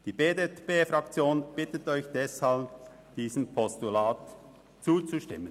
Die BDPFraktion bittet Sie deshalb, diesem Postulat zuzustimmen.